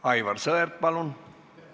Aivar Sõerd, palun!